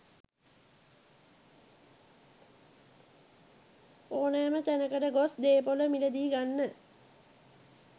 ඕනෑම තැනකට ගොස් දේපොළ මිලදී ගන්න